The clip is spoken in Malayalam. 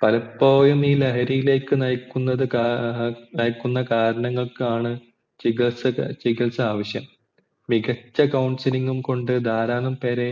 പലപ്പോഴും ഈ ലഹരിലേക് നയിക്കുന്നത് കാര കരണങ്ങൾക്കാണ് ചികിത്സ ആവിശ്യം മികച്ച councilng ഉം കൊണ്ട് ധരാളം പേരെ